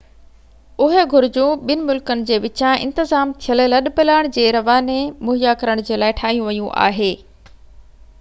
اهي گهرجون ٻن ملڪن جي وچان انتظام ٿيل لڏپلاڻ جي رواني مهيا ڪرڻ جي لاءِ ٺاهيون ويون آهي